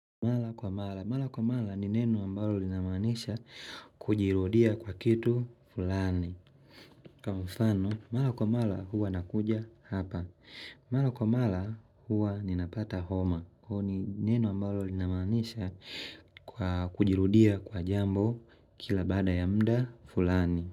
Mala kwa mala, mala kwa mala ni neno ambalo linamanisha kujirudia kwa kitu fulani Kwa mfano, mala kwa mala huwa nakuja hapa Mala kwa mala huwa ninapata homa au ni neno ambalo linamaanisha kwa kujirudia kwa jambo kila baada ya mda fulani.